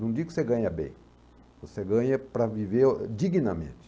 Não digo que você ganha bem, você ganha para viver dignamente.